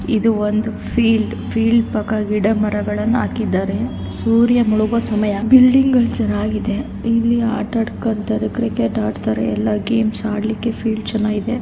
ಇದು ಒಂದು field . Field ಪಕ್ಕ ಗಿಡ ಮರಗಳನ್ನು ಹಾಕಿದ್ದಾರೆ ಸೂರ್ಯ ಮುಳುಗುವ ಸಮಯ ಬಿಲ್ಡಿಂಗ್ ಗಳ್ ಚನ್ನಾಗಿದೆ. ಇಲ್ಲಿ ಆಟಡ್ ಕ್ರಿಕೆಟ್ ಆತಾಡತ್ತಾರೆ. ಎಲ್ಲಾ ಗೇಮ್ಸ್ ಆಡ್ಲಿಕೆ ಫೀಲ್ಡ್ ಚನ್ನಾಗಿದೆ.